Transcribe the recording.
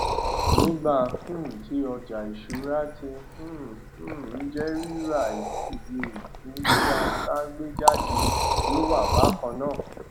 nígbà um tí ọjà ìṣúra tí um um jẹ rírà iye ìpín tí a sàgbéjáde yóò wà bákan náà